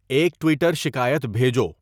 ایک ٹویٹر شکایت بھیجو